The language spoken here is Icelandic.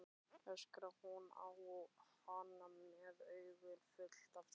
öskrar hún á hann með augun full af tárum.